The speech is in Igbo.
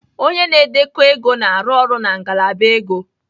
Onye na-edekọ ego na-arụ ọrụ na ngalaba ego